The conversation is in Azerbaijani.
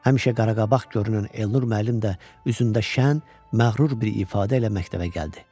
Həmişə qaraqabaq görünən Elnur müəllim də üzündə şən, məğrur bir ifadə ilə məktəbə gəldi.